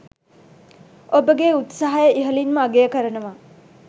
ඔබගෙ උත්සහය ඉහලින්ම අගය කරනව